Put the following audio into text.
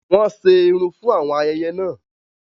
Wọn ṣe irun wọn fún ayẹyẹ náà